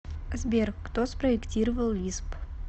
сбер кто спроектировал лисп